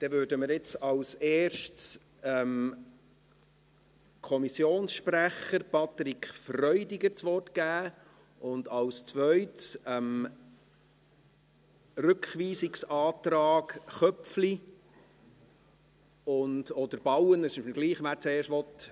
Dann geben wir jetzt als Erstes dem Kommissionssprecher, Patrick Freudiger, das Wort, und als Zweites kämen wir zum Rückweisungsantrag Köpfli oder Bauen – egal, wer zuerst sprechen möchte.